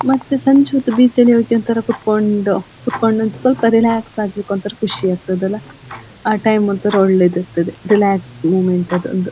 ಮತ್ತೆ ಸಂಜೆ ಹೊತ್ತು ಬೀಚ್ ಅಲ್ಲಿ ಹೋಗಿ ಒಂಥರಾ ಕುಂತ್ಕೊಂಡು ಕುಂತ್ಕೊಂಡು ಸ್ವಲ್ಪ ರಿಲ್ಯಾಕ್ಸ್ ಆಗಿ ಒಂಥರಾ ಖುಷಿ ಆಗ್ತದ್ದೆ ಅಲ ಆ ಟೈಮ್ ಒಂಥರಾ ಒಳ್ಳೇದು ಇರ್ತದ್ದೆ ರಿಲ್ಯಾಕ್ಸ್ ಮೊಮೆಂಟ್ ಅದೊಂದು.